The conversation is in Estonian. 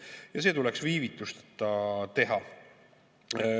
Ja see tuleks viivitusteta teha.